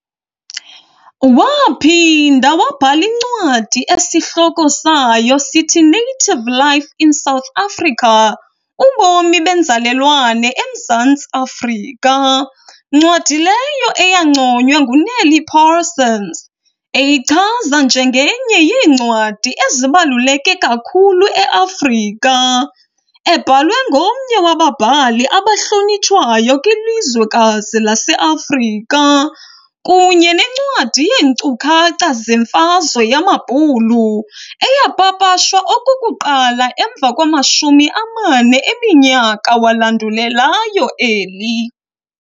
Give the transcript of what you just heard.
Waaphinda wabhala incwadi esihloko sayo sithi"Native Life in South Africa - Ubomi benzalelwane emZantsi Afrika", ncwadi leyo eyanconywa nguNeil Parsons, eyichaza njenge"nye yeencwadi ezibaluleke kakhulu eAfrika, ebhalwe ngomnye wababhali abahlonitshwayo kwilizwekazi laseAfrika", kunye nencwadi yeenkcukacha zemfazwe yamabbhulu eyapapashwa okokuqala emva kwama-40 eminyaka walandulelayo eli.